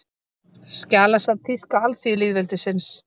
Skjalasafn Þýska alþýðulýðveldisins